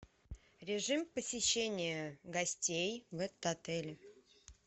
режим посещения гостей в этот отель